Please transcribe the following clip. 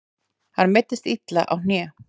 Hann meiddist illa á hné.